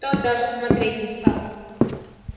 тот даже смотреть не стал